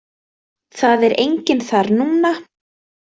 Það er enginn þar núna.